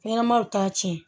Fɛnɲɛnamanw t'a tiɲɛ